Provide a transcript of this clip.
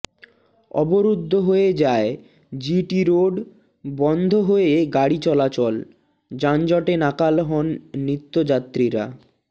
অবরুদ্ধ হয়ে যায় জি টি রোড বন্ধ হয়ে গাড়ি চলাচল যানজটে নাকাল হন নিত্যযাত্রীরা